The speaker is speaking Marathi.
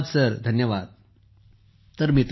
Sukhbir ji thank you sir